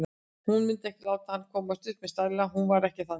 Hún mundi ekki láta hann komast upp með stæla, hún var ekki þannig.